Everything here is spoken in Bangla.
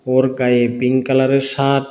ওর গায়ে পিং কালারের শার্ট ।